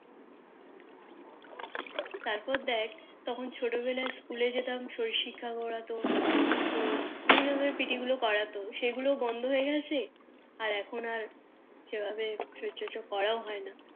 তারপর দেখ তখন ছোট বেলায় School যেতাম শরীর শিক্ষা করাতো তোর বিভিন্ন রকমের PT গুলো করাতো সে গুলো বন্দ হয়ে গেছে আর এখন আর সেভাবে শরীর চর্চা করাও হয় না